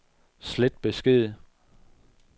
slet besked